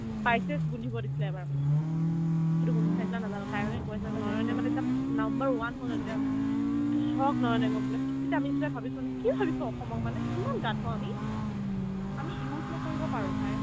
spices গোন্ধিব দিছিলে এবাৰ মানে সেইটো গোন্ধ চাইছিলে নাজানো তাই মানে কৈ আছিলে নয়নে মানে jab number one হ'ল ন যেতিয়া হ'লে হ'লে মইতো shocked নয়নে পালে তেতিয়া আমি দুটাই ভাবিছো মানে কি ভাবিছ অসমক মানে ইমান গাধ আমি আমি use নকৰিব পাৰো bhai